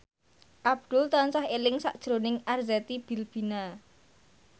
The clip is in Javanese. Abdul tansah eling sakjroning Arzetti Bilbina